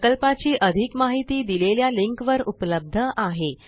प्रकल्पाची अधिक माहिती दिलेल्या लिंकवर उपलब्ध आहे